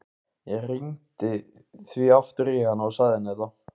Ég hringdi því aftur í hana og sagði henni þetta.